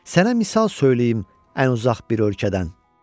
Sənə misal söyləyim ən uzaq bir ölkədən.